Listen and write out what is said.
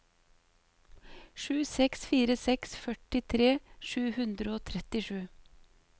sju seks fire seks førtitre sju hundre og trettisju